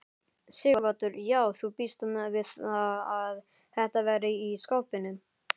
Sighvatur: Já þú bíst við að þetta verði í skaupinu?